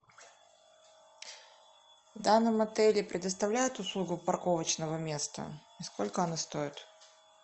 в данном отеле предоставляют услугу парковочного места и сколько она стоит